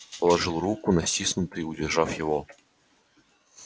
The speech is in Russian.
положил руку на стиснутый удержав его